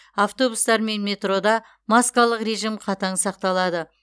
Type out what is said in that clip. автобустар мен метрода маскалық режим қатаң сақталады